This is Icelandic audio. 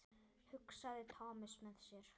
hugsaði Thomas með sér.